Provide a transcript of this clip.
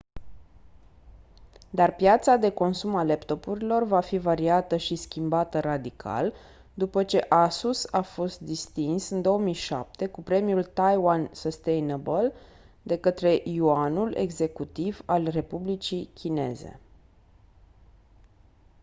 dar piața de consum a laptopurilor va fi variată și schimbată radical după ce asus a fost distins în 2007 cu premiul taiwan sustainable de către yuanul executiv al republicii chineze